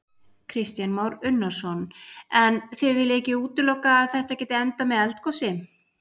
Kristján Már Unnarsson: En þið viljið ekki útiloka að þetta geti endað með eldgosi?